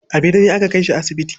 A birni aka kai shi asibiti.